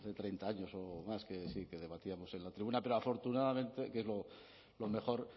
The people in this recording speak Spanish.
treinta años o más que sí que debatíamos en la tribuna pero afortunadamente lo mejor